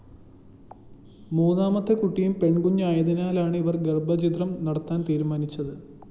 മൂന്നാമത്തെ കുട്ടിയും പെണ്‍കുഞ്ഞായതിനാലാണ് ഇവര്‍ ഗര്‍ഭച്ഛിദ്രം നടത്താന്‍ തീരുമാനിച്ചത്